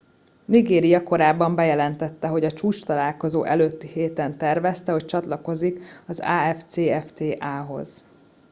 nigéria korábban bejelentette hogy a csúcstalálkozó előtti héten tervezte hogy csatlakozik az afcfta hoz